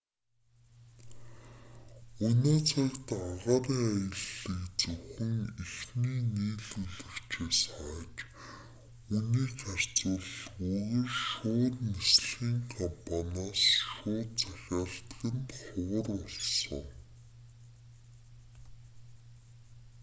өнөө цагт агаарын аяллыг зөвхөн эхний нийлүүлэгчээс хайж үнийг харьцуулахгүйгээр шууд нислэгийн компаниас шууд захиалдаг нь ховхр болсон